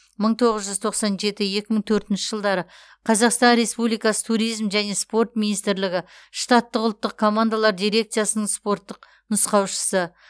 мың тоғыз жүз тоқсан жеті екі мың төртінші жылдары қазақстан республикасы туризм және спорт министрлігі штаттық ұлттық командалар дирекциясының спорттық нұсқаушысы